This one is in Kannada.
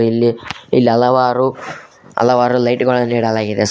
ಇಲ್ಲಿ ಹಲವಾರು ಹಲವಾರು ಲೈಟ್ ಗಳನ್ನು ಇಡಲಾಗಿದೆ ಸರ್ .